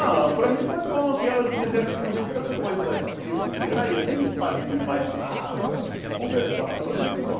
Ah, para mim foi bom, que é o seguinte, eu recordei de tanta coisa, tipo, que olha eu nem fazia imaginava conversar, para mim foi bom.